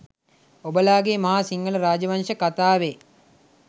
ඔබලාගේ මහා සිංහල රාජ වංශ කතාවේ